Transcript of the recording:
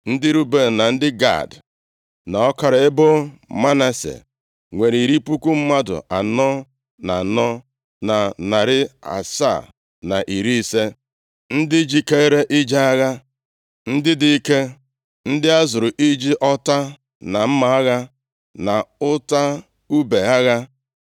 Ndị Ruben na ndị Gad, na ọkara ebo Manase nwere iri puku mmadụ anọ na anọ na narị asaa na iri isii (44,760) ndị jikeere ije agha, ndị dị ike, ndị a zụrụ iji ọta na mma agha, na ụta ibu agha.